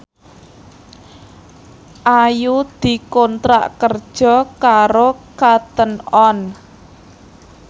Ayu dikontrak kerja karo Cotton On